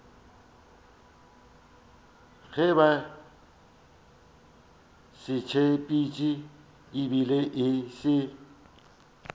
gabotsebotse e be e se